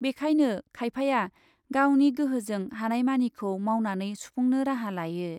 बेखायनो खायफाया गावनि गोहोजों हानायमानिखौ मावनानै सुफुंनो राहा लायो ।